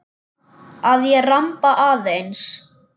Að ég ramba aðeins.